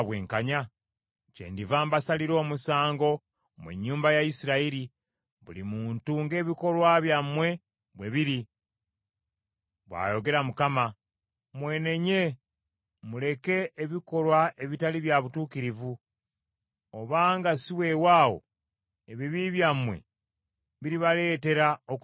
“Kyendiva mbasalira omusango, mmwe ennyumba ya Isirayiri, buli muntu ng’ebikolwa byammwe bwe biri, bw’ayogera Mukama . Mwenenye, muleke ebikolwa ebitali bya butuukirivu, oba nga ssi weewaawo ebibi byammwe biribaleetera okuzikirira.